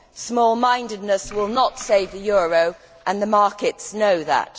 Small mindedness will not save the euro and the markets know that.